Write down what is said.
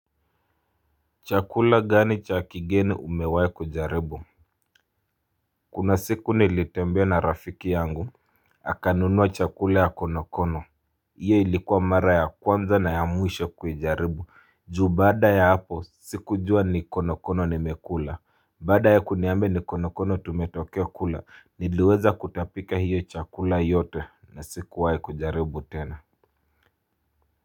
Chakula gani cha kigeni umewai kujaribu? Kuna siku nilitembea na rafiki yangu Akanunuwa chakula ya konokono hiyo ilikuwa mara ya kwanza na ya mwisho kuijaribu ju baada ya hapo sikujua ni konokono nimekula Baada ya kuniambia ni konokono tumetokea kula niliweza kutapika hiyo chakula yote na sikuwahi kujaribu tena.